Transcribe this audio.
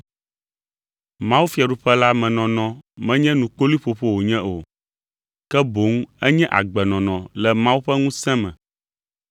Mawufiaɖuƒe la me nɔnɔ menye nukpoloeƒoƒo wònye o, ke boŋ enye agbenɔnɔ le Mawu ƒe ŋusẽ me.